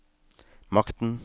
makten